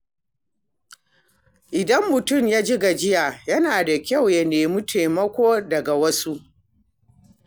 Idan mutum ya ji gajiya, yana da kyau ya nemi taimako daga wasu.